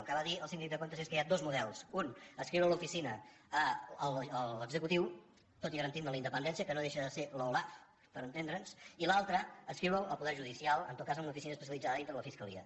el que va dir el síndic de comptes es que hi ha dos models un adscriure l’oficina a l’executiu tot i garantint ne la independència que no deixa de ser l’olaf per entendre’ns i l’altre adscriure la al poder judicial en tot cas amb una oficina especialitzada dintre de la fiscalia